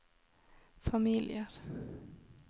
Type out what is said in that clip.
familier